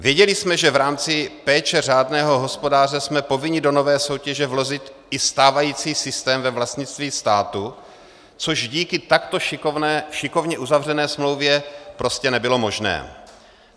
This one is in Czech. Věděli jsme, že v rámci péče řádného hospodáře jsme povinni do nové soutěže vložit i stávající systém ve vlastnictví státu, což díky takto šikovně uzavřené smlouvě prostě nebylo možné.